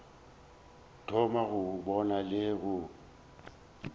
thoma go bona le go